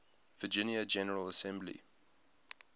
virginia general assembly